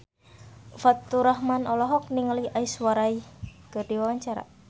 Faturrahman olohok ningali Aishwarya Rai keur diwawancara